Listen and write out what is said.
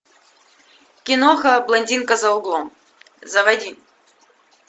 киноха блондинка за углом заводи